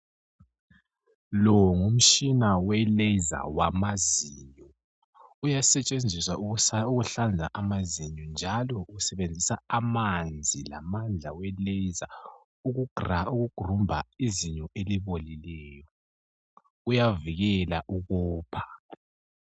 Lo ngumtshina weleza wamazinyo. Uyasetshenziswa ukuhlanza amazinyo, njalo usebenzisa amanzi lamandla weleza ukugrumba izinyo elibolileyo. Uyavikela ukopha.